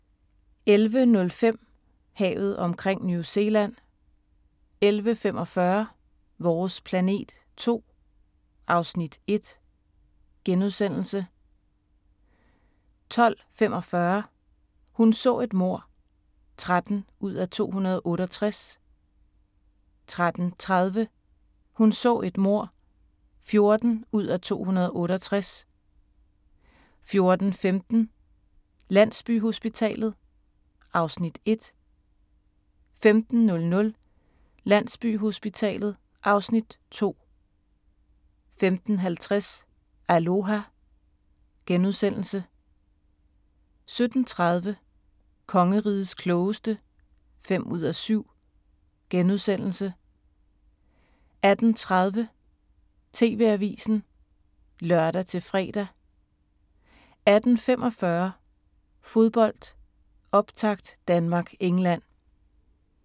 11:05: Havet omkring New Zealand 11:45: Vores planet 2 (Afs. 1)* 12:45: Hun så et mord (13:268) 13:30: Hun så et mord (14:268) 14:15: Landsbyhospitalet (Afs. 1) 15:00: Landsbyhospitalet (Afs. 2) 15:50: Aloha * 17:30: Kongerigets klogeste (5:7)* 18:30: TV-avisen (lør-fre) 18:45: Fodbold: Optakt Danmark-England